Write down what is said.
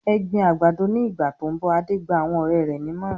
"Ẹ gbin àgbàdo ní ìgbà tó ń bọ̀!" Adé gba àwọn ọ̀rẹ́ rẹ̀ nímọ̀ràn.